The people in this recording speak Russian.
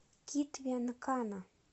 китве нкана